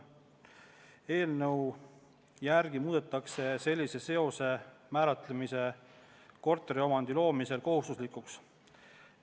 Eelnõu järgi muudetakse sellise seose määratlemine korteriomandi loomisel kohustuslikuks.